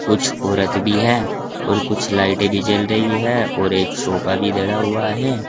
कुछ औरत भी है और कुछ लाइटें भी जल रही है और एक सोफा भी धरा हुआ है।